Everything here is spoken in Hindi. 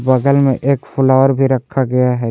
बगल में एक फ्लावर भी रखा गया है।